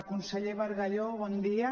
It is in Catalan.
conseller bargalló bon dia